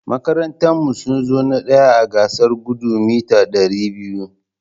Makarantan mu sunzo na ɗaya a gasar Gudun Meeta Dari biyu (200)